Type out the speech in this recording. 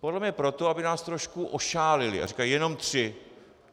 Podle mě proto, aby nás trošku ošálili a říkají - jenom tři.